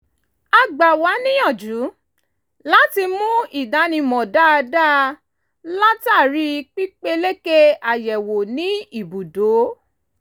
a gbà wá níyànjú láti mú ìdánimọ̀ dáadáa látàrí pípeléke àyẹ̀wò ní ìbùdó